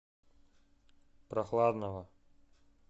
прохладного